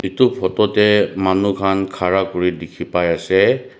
edu photo tae manu khan khara kuri dikhipaiase.